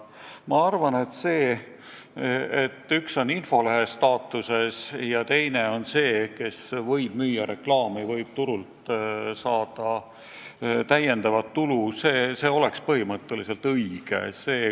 Minu arvates lähenemine, et üks on infolehe staatuses ja teine on väljaanne, kes võib müüa reklaamipinda ja saada sel moel täiendavat tulu, on põhimõtteliselt õige.